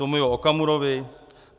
Tomio Okamurovi?